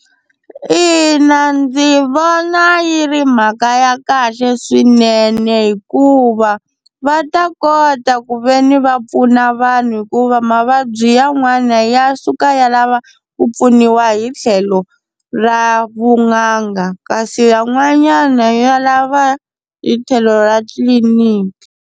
Ina ndzi vona yi ri mhaka ya kahle swinene, hikuva va ta kota ku veni va pfuna vanhu hikuva mavabyi yan'wana ya suka ya lava ku pfuniwa hi tlhelo ra vun'anga kasi yan'wanyana ya lava hi tlhelo ra tliliniki.